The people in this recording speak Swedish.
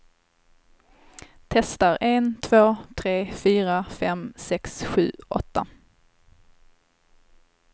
Testar en två tre fyra fem sex sju åtta.